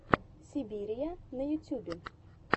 сибирия на ютьюбе